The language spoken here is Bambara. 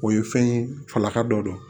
O ye fɛn ye falaka dɔ don